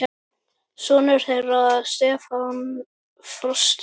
Sonur þeirra Stefán Frosti.